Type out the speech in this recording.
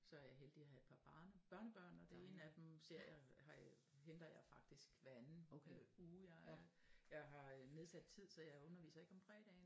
Så er jeg heldig at have et par barne børnebørn og den ene af dem ser jeg henter jeg faktisk hver anden øh uge jeg er jeg har øh nedsat tid så jeg underviser ikke om fredagen